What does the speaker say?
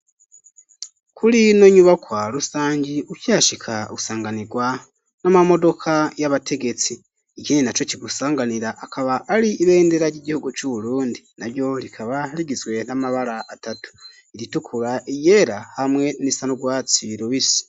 Kuri ino nyubakwa rusangi, ukihashika, usanganirwa, n'amamodoka y'abategetsi; ikindi naco kigusanganira, akaba ari ibendera, ry'igihugu c'Uburundi, na ryo rikaba, rigizwe n'amabara atatu; iritukura, iryera, hamwe n'irisa n'urwatsi rubisi.